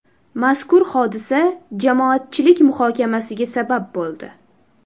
Mazkur hodisa jamoatchilik muhokamasiga sabab bo‘ldi.